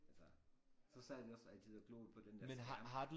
Altså så sad vi også altid og gloede på den der skærm